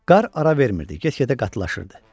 Qar ara vermirdi, get-gedə qatlaşırdı.